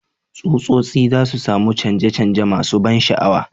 Tsutsotsi za su sami canje-canje masu ban sha'awa,